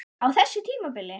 Á þessu tímabili?